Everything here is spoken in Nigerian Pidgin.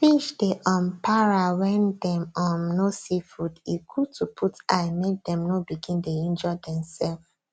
fish dey um para when dem um no see food e good to put eye make them no begin dey injure themself